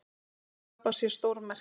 Sápa sé stórmerkileg.